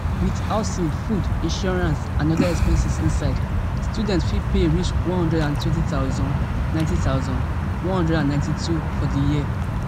with housing food insurance and oda expenses inside students fit pay reach one hundred and twenty thousand ninety thousand, one hundred and ninety-two for di year